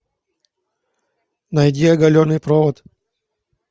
найди оголенный провод